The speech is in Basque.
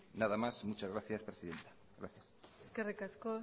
nada más muchas gracias presidenta gracias eskerrik asko